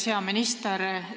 Hea minister!